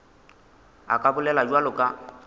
a ka bolela bjalo ka